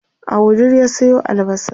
a wudil ya Sayo albasa